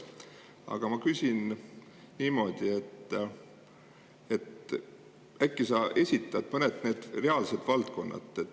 Aga ma küsin niimoodi: äkki sa esitad mõned valdkonnad,?